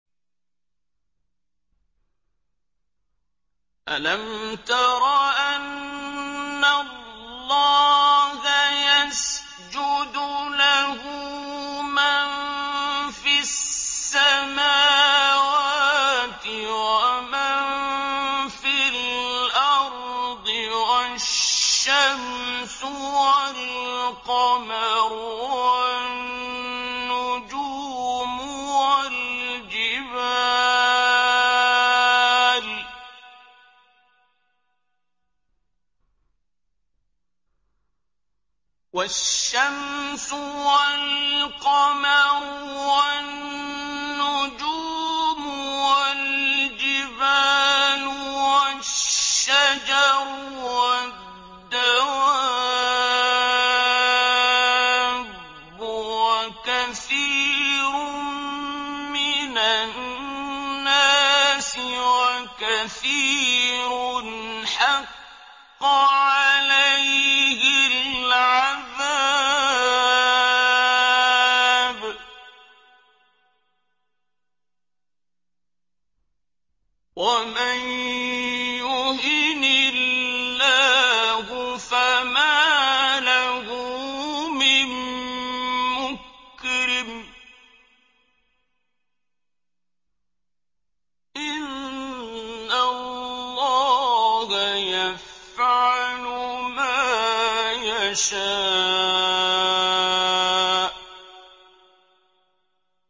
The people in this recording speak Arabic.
أَلَمْ تَرَ أَنَّ اللَّهَ يَسْجُدُ لَهُ مَن فِي السَّمَاوَاتِ وَمَن فِي الْأَرْضِ وَالشَّمْسُ وَالْقَمَرُ وَالنُّجُومُ وَالْجِبَالُ وَالشَّجَرُ وَالدَّوَابُّ وَكَثِيرٌ مِّنَ النَّاسِ ۖ وَكَثِيرٌ حَقَّ عَلَيْهِ الْعَذَابُ ۗ وَمَن يُهِنِ اللَّهُ فَمَا لَهُ مِن مُّكْرِمٍ ۚ إِنَّ اللَّهَ يَفْعَلُ مَا يَشَاءُ ۩